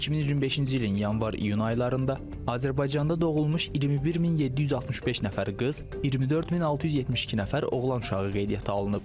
2025-ci ilin yanvar-iyun aylarında Azərbaycanda doğulmuş 21765 nəfər qız, 24672 nəfər oğlan uşağı qeydiyyata alınıb.